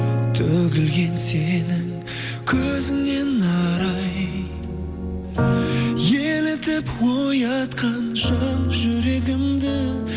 төгілген сенің көзіңнен арай елітіп оятқан жан жүрегімді